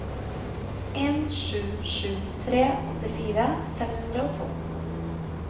en sju sju tre åttifire fem hundre og to